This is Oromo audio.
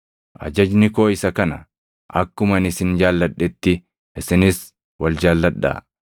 Ajajni koo isa kana: Akkuma ani isin jaalladhetti isinis wal jaalladhaa.